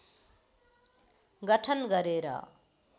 गठन गरेर